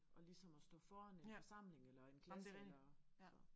At ligesom at stå foran en forsamling eller en klasse eller så